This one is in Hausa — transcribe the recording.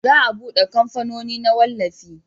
za a bude kamfanoni na wallafi